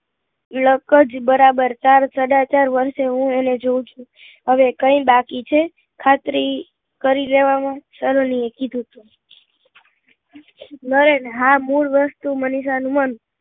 અરે લક જ બરાબર ચાર સાડા ચાર વર્ષ થી હું એને જોઉં છું હવે કઈ બાકી છે ખાતરી કરી લેવા માં સલોની એ કીધું નરેન હા મૂળ વસ્તુ મનીષા નું મન